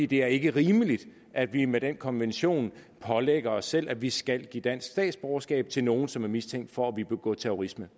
det er ikke rimeligt at vi med den konvention pålægger os selv at vi skal give dansk statsborgerskab til nogen som er mistænkt for at ville begå terrorisme